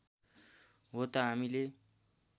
हो त हामीले